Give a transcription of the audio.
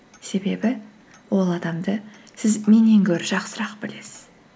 себебі ол адамды сіз меннен гөрі жақсырақ білесіз